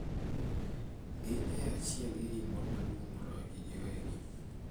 Gin e achiel gi gimoro maduong’ moloyogi giwegi,